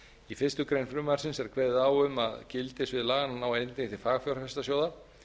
í fyrstu grein frumvarpsins er kveðið á um að gildissvið laganna nái einnig til fagfjárfestasjóða